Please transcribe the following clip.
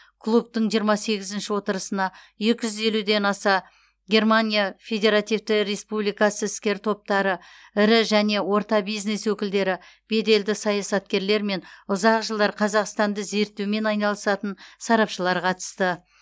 клубтың жиырма сегізінші отырысына екі жүз елуден аса германия федеративті республикасы іскер топтары ірі және орта бизнес өкілдері беделді саясаткерлер мен ұзақ жылдар қазақстанды зерттеумен айналысатын сарапшылар қатысты